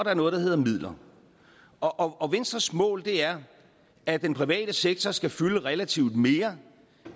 er noget der hedder midler og venstres mål er at den private sektor skal fylde relativt mere